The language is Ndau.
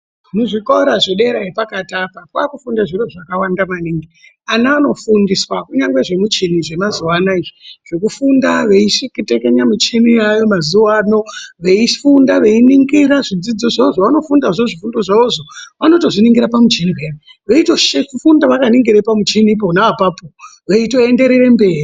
Muzvikora zvedera yepakati apa kwakufuundiwa zviro zvakawanda maningi. Ana anofundiswa zvemuchini zvemazuwa anaya. Zvekufunda veitekenya michina yaayo mazuwa ano. Veifunda veiningira zvidzidzo zvavo zvavanofunda zvavanofundazvo zvifundo zvavozvo vanotozviningira pamuchini peya veitofunda vakaningira pamuchini pona apapo veitoendetera mberi.